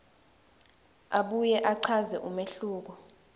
abuye achaze umehluko